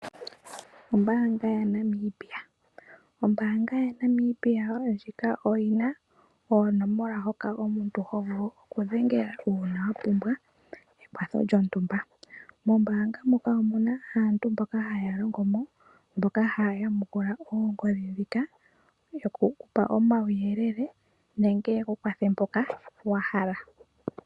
Ombaanga yaNamibia oyina oonomola hoka omuntu hovulu okudhengela uuna wapumbwa ekwatho lyontumba. Mombaanga muka omuna aantu mboka haya longomo , mboka haya yamukula oongodhi ndhika , yokukupa omauyelele nenge yeku kwathele mpoka wahala.